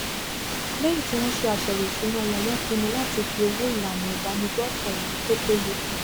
lẹyìn tí wọn ṣe àyẹwò isúná wọn wọn pinnu láti fi owó ìlànà ìbánigbófò ẹmí tó péye